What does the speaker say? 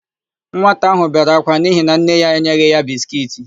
Nwata áhụ̀ bere akwa n'ihi na nne ya enyeghị ya biskiiti.